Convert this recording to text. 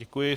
Děkuji.